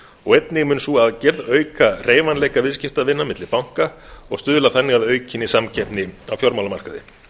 og einnig mun sú aðgerð auka hreyfanleika viðskiptavina milli banka og stuðla þannig að aukinni samkeppni á fjármálamarkaði